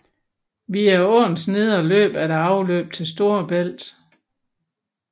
Via åens nedre løb er der afløb til Storebælt